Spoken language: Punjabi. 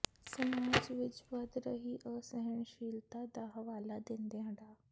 ਸਮਾਜ ਵਿੱਚ ਵੱਧ ਰਹੀ ਅਸਹਿਣਸ਼ੀਲਤਾ ਦਾ ਹਵਾਲਾ ਦਿੰਦਿਆਂ ਡਾ